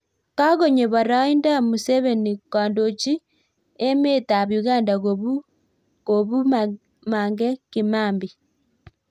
Kakonyo paraindo Museveni kondochi emeet AP Uganda kobuu Mange Kimambi?